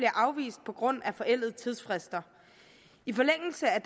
afvist på grund af forældede tidsfrister i forlængelse af